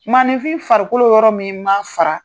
Maaninfin farikolo yɔrɔ min maa fara